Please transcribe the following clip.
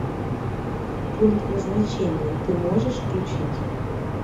пункт назначения ты можешь включить